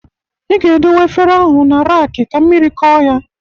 Ị ga-edowe efere ahụ na raki ka mmiri kọọ ya.